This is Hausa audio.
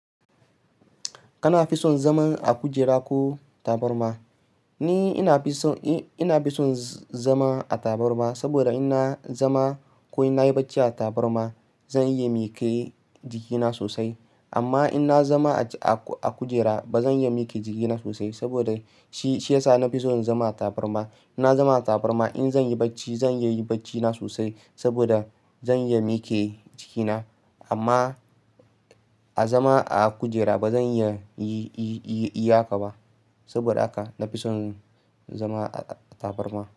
Kana fi son zaman a kujera ko tabarma? Ni ina fi son, ina fi son zama a tabarma saboda in na zama ko in na yi bacci a tabarma zan iya miƙe jikina sosai. Amma in na zama a, a kujera ba zan iya miƙe jikina sosai saboda shi, shi ya sa na fi son zama a tabarma. In na zama a tabarma, in zan yi bacci, zan iya bacci na sosai saboda zan iya miƙe jikina. Amma a zama a kujera ba zan iya, iya haka ba. Saboda haka na fi son zama a tabarma.